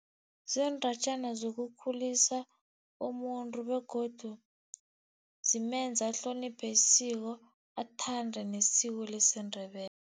Ziindatjana zokukhulisa umuntu begodu zimenza ahloniphe isiko, athande nesiko